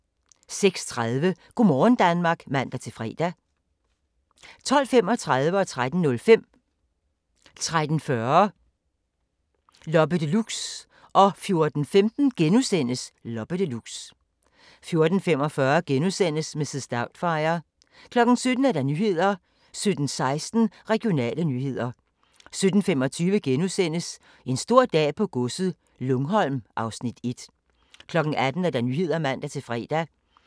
06:30: Go' morgen Danmark (man-fre) 12:35: Loppe Deluxe 13:05: Loppe Deluxe 13:40: Loppe Deluxe 14:15: Loppe Deluxe * 14:45: Mrs. Doubtfire * 17:00: Nyhederne 17:16: Regionale nyheder 17:25: En stor dag på godset - Lungholm (Afs. 1)* 18:00: Nyhederne (man-fre)